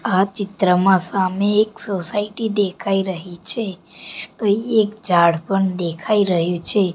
આ ચિત્રમાં સામે એક સોસાયટી દેખાય રહી છે અહીં એક ઝાડ પણ દેખાય રહ્યુ છે.